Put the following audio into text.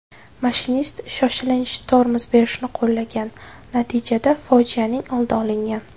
Mashinist shoshilinch tormoz berishni qo‘llagan, natijada fojianing oldi olingan.